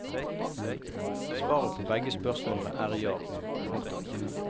Svaret på begge spørsmålene er ja. punktum